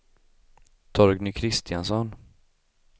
Torgny Kristiansson